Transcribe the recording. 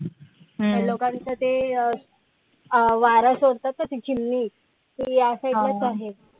त्या दोघांचं ते वारा सोडतात ना ती चिमणी ते या side लाच आहे.